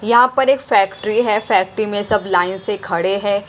यहाँ पर एक फैक्ट्री है फैक्ट्री में सब लाइन से खड़े हैं।